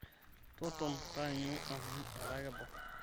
tototon taanyu amuu etaa kebau